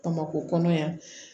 Bamakɔ kɔnɔ yan